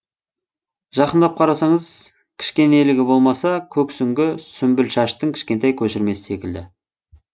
жақындап қарасаңыз кішкенелігі болмаса көксүңгі сүмбілшаштың кішкентай көшірмесі секілді